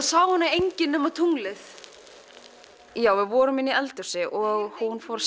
sá hana engin nema tunglið já við vorum inn í eldhúsi og hún fór